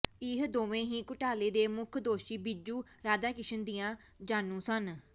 ਇਹ ਦੋਵੇਂ ਹੀ ਘੁਟਾਲੇ ਦੇ ਮੁੱਖ ਦੋਸ਼ੀ ਬੀਜੂ ਰਾਧਾਕ੍ਰਿਸ਼ਸ਼ਨ ਦੀਆਂ ਜਾਣੂ ਸਨ